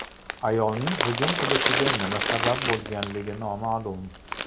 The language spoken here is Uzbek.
Ayolning hujum qilishiga nima sabab bo‘lganligi noma’lum.